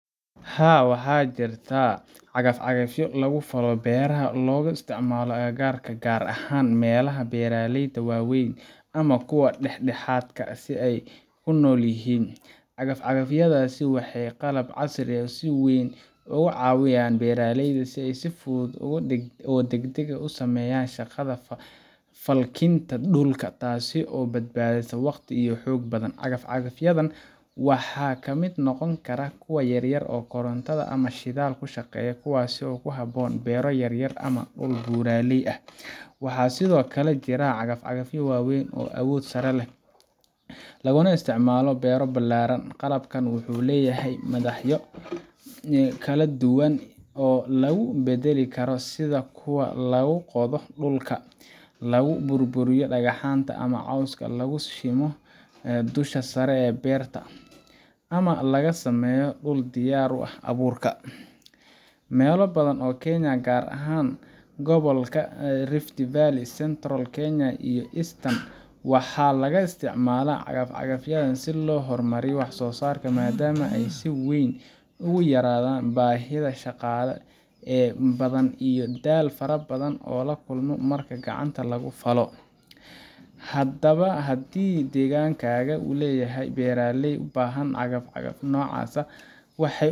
Haa, waxaa jira cagaf-cagafyo lagu falo beeraha oo laga isticmaalo agagaarka, gaar ahaan meelaha beeraleyda waaweyn ama kuwa dhexdhexaadka ah ay ku nool yihiin. Cagaf-cagafyadaas waa qalab casri ah oo si weyn uga caawiya beeraleyda in ay si fudud oo degdeg ah u sameeyaan shaqada falkinta dhulka, taasoo badbaadisa waqti iyo xoog badan. Cagaf-cagafyadan waxaa ka mid noqon kara kuwa yaryar oo koronto ama shidaal ku shaqeeya, kuwaasoo ku habboon beero yar yar ama dhul buuraley ah. Waxaa sidoo kale jira cagafyo waaweyn oo leh awood sare, laguna isticmaalo beero ballaaran. Qalabkan wuxuu leeyahay madaxyo kala duwan oo lagu beddeli karo, sida kuwa lagu qodo dhulka, lagu burburiyo dhagaxaanta ama cawska, lagu simo dusha sare ee beerta, ama lagu sameeyo dhul diyaar u ah abuurka. Meelo badan oo Kenya ah, gaar ahaan gobolka Rift Valley, Central Kenya iyo Eastern, waxaa laga isticmaalaa cagaf-cagafyadan si loo horumariyo wax-soo-saarka, maadaama ay si wayn uga yaraanayaan baahida shaqaale badan iyo daal fara badan oo la kulmo marka gacanta lagu falo. Haddaba, haddii deegaankaaga uu leeyahay beeraley u baahan qalab noocaas ah, waxay